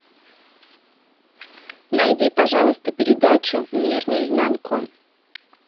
найди пожалуйста передачу мир наизнанку